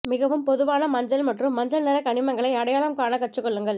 மிகவும் பொதுவான மஞ்சள் மற்றும் மஞ்சள் நிற கனிமங்களை அடையாளம் காண கற்றுக்கொள்ளுங்கள்